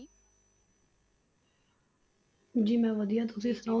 ਜੀ ਮੈਂ ਵਧੀਆ ਤੁਸੀਂ ਸੁਣਾਓ?